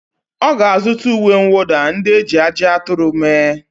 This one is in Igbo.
Ọ ga-azụta uwe mwụda ndị e ji ajị aturu mee.